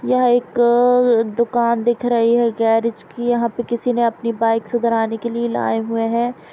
यह एक दुकान दिख रही है गैरेज की। यहां पे किसी ने अपनी बाइक सुधराने के लिए लाए हुए है।